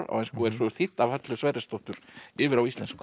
á ensku og er þýdd af Höllu Sverrisdóttur yfir á íslensku